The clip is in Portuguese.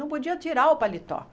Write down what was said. Não podia tirar o paletó.